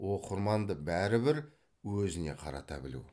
оқырманды бәрібір өзіне қарата білу